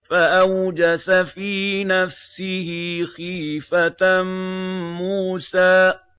فَأَوْجَسَ فِي نَفْسِهِ خِيفَةً مُّوسَىٰ